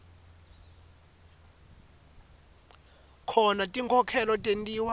khona tinkhokhelo tentiwa